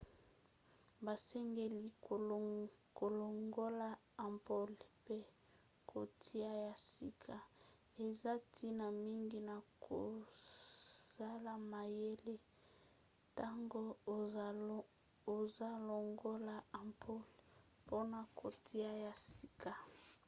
basengeli kolongola ampoule mpe kotia ya sika. eza ntina mingi na kozala mayele ntango ozolongola ampoule mpona kotia ya sika